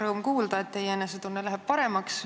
Rõõm kuulda, et teie enesetunne läheb paremaks.